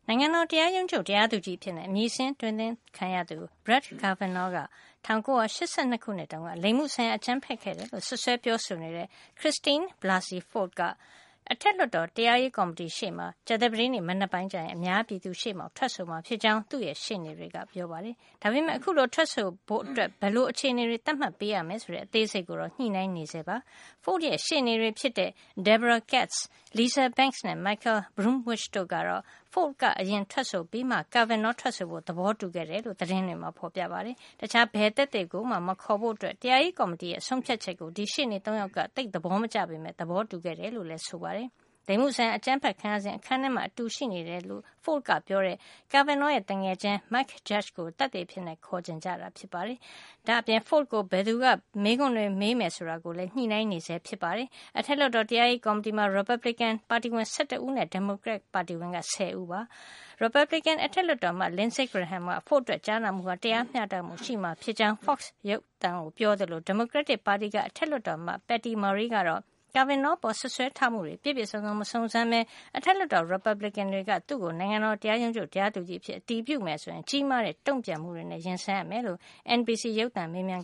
ိုင်ငံတော် တရားရုံးချုပ်တရားသူကြီးအဖြစ် အမည်စာရင်း အတင်သွင်းခံရသူ Brett Kavanaugh က ၁၉၈၂ ခုနှစ်တုန်းက လိင်မှုဆိုင်ရာ အကြမ်းဖက်ခဲ့တယ်လို့ စွပ်စွဲပြောဆိုနေတဲ့ Christine Blasey Ford ဟာ အထက်လွှတ်တော် တရားရေးကော်မတီရှေ့မှာ ကြာသပတေး မနက်ပိုင်းကျရင် အများပြည်သူရှေ့မှောက် ထွက်ဆိုမှာ ဖြစ်ကြောင်း သူ့ရဲ့ ရှေ့နေတွေက ပြောပါတယ်။ ဒါပေမယ့် အခုလို ထွက်ဆိုဖို့ အတွက် ဘယ်လို အခြေနေတွေ သတ်မှတ်ပေးရမယ် ဆိုတဲ့ အသေးစိတ်ကိုတော့ ညှိနှိုင်းနေကြဆဲ ဖြစ်ပါတယ်။ Ford ရဲ့ ရှေ့နေတွေဖြစ်တဲ့ Debra Katz, Lisa Banks နဲ့ Michael Bromwich တို့ကတော့ Ford က အရင်ထွက်ဆိုပြီးမှ Kavanaugh ထွက်ဆိုဖို့ သဘောတူခဲ့တယ်လို့ သတင်းတွေမှာ ဖေါ်ပြပါတယ်။ တခြားဘယ်သက်သေကိုမှ မခေါ်ဖို့ တရားရေးကော်မတီရဲ့ ဆုံးဖြတ်ချက်ကို ဒီရှေ့နေ ၃ ယောက်က သိပ်သဘောမကျပေမယ့် သဘောတူခဲ့တယ်လို့လည်း ဆိုပါတယ်။ လိင်မှုဆိုင်ရာ အကြမ်းဖက်ခံရစဉ်က အခန်းထဲမှာ အတူရှိနေတယ်လို့ Ford ကပြောတဲ့ Kavanaugh ရဲ့ သူငယ်ချင်း Mike Judge ကို သက်သေအဖြစ် ခေါ်ချင်တာ ဖြစ်ပါတယ်။ ဒါ့အပြင် Ford ကို ဘယ်သူက မေးခွန်ေးတွ မေးမယ်ဆိုတာကိုလည်း ညှိနှိုင်းဆဲ ဖြစ်ပါတယ်။ အထက်လွှတ်တော် တရားရေးကော်မတီမှာ ရီပတ်ဘလစ်ကင်ပါတီဝင် ၁၁ ဦးနဲ့ ဒီမိုကရက်တစ် ပါတီဝင် ၁၀ ဦးရှိနေတာပါ။ ရီပတ်ဘလစ်ကင် အထက်လွှတ်တော်အမတ် Lindsey Graham က Ford အတွက် ကြားနာမှုဟာ တရားမျှတမှု ရှိမှာ ဖြစ်ကြောင်း Fox သတင်းဌာနကို ပြောသလို ဒီမိုကရက်တစ်ပါတီက အထက်လွှတ်တော်အမတ် Patty Murray ကတော့ Kavanaugh အပေါ် စွပ်စွဲထားမှုကို ပြည့်ပြည့်စုံစုံ မစုံစမ်းပဲ အထက်လွှတ်တော်က ရီပတ်ဘလစ်ကင်တွေက Kavanaugh ကို နိုင်ငံတော် တရားရုံးချုပ်တရားသူကြီးအဖြစ် အတည်ပြုမယ် ဆိုရင် ကြီးမားတဲ့ တုံ့ပြန်မှုတွေနဲ့ ရင်ဆိုင်ရမှာ ဖြစ်ကြောင်း NBC ရုပ်သံမေးမြန်